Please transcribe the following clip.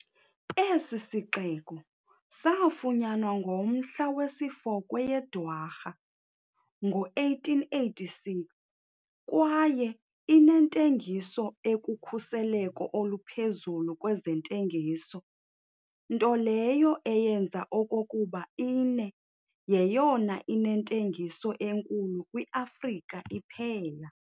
Esi sixeko saafunyanwa ngomhla wesi-4 kweyeDwarha, ngo-1886 kwaye inentengiso ekukhuseleko oluphezulu kwezentengiso, nto leyo eyenza okokuba ine yeyona inentengiso enkulu kwi-afrika iphela.